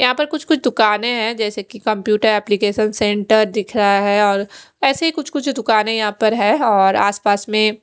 यहाँ पर कुछ कुछ दुकाने है जैसे की कमप्यूटर एप्लीकेशन सेंटर दिख रहा है और ऐसे ही कुछ कुछ दुकाने यहाँ पर है और आस पास में--